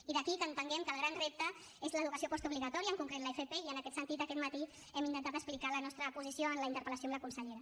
i d’aquí que entenguem que el gran repte és l’educació postobligatòria en concret l’fp i en aquest sentit aquest matí hem intentat explicar la nostra posició en la interpel·lació a la consellera